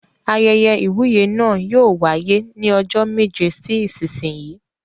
Ayẹyẹ ìwúyè náà yóò wáyé ní ọjọ́ méje sí ìsinsìnyí.